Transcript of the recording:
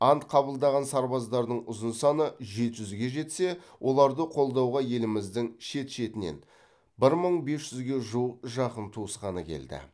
ант қабылдаған сарбаздардың ұзын саны жеті жүзге жетсе оларды қолдауға еліміздің шет шетінен бір мың бес жүзге жуық жақын туысқаны келді